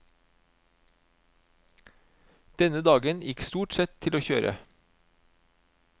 Denne dagen gikk stort sett til å kjøre.